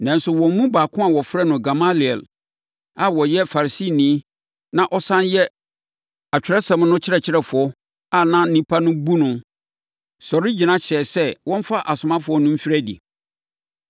Nanso, wɔn mu baako a wɔfrɛ no Gamaliel a ɔyɛ Farisini na ɔsane yɛ Atwerɛsɛm no ɔkyerɛkyerɛfoɔ a na nnipa bu no no, sɔre gyina hyɛɛ sɛ wɔmfa asomafoɔ no mfiri adi.